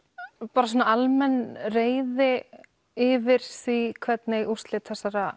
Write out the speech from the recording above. bara almenn reiði yfir því hvernig úrslit